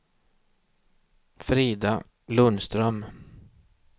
Frida Lundström